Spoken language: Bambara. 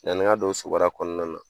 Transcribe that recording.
Yann'i ka don o subariya kɔnɔna na